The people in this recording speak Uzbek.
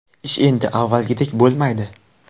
Ish endi avvalgidek bo‘lmaydi.